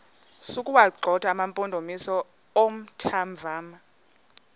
sokuwagxotha amampondomise omthonvama